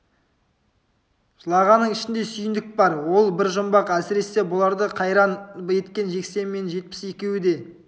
жылағанның ішінде сүйіндік бар ол бір жұмбақ әсіресе бұларды қайран еткен жексен мен жетпіс екеуі де